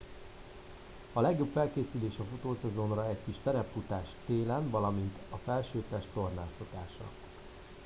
a legjobb felkészülés a futószezonra egy kis terepfutás télen valamint a felsőtest tornáztatása